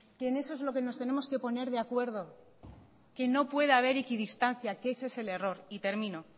que en eso es lo que nos tenemos que poner de acuerdo que no puede haber equidistancia que ese es el error y termino